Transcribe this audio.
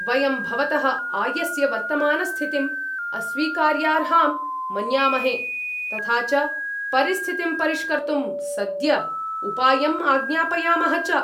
वयं भवतः आयस्य वर्तमानस्थितिम् अस्वीकार्यार्हां मन्यामहे, तथा च परिस्थितिं परिष्कर्तुं सद्य उपायं आज्ञापयामः च।